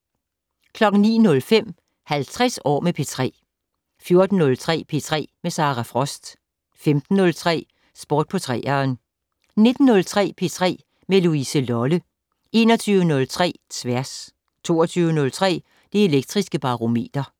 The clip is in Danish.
09:05: 50 år med P3 14:03: P3 med Sara Frost 15:03: Sport på 3'eren 19:03: P3 med Louise Lolle 21:03: Tværs 22:03: Det Elektriske Barometer